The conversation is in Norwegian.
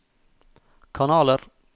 kanaler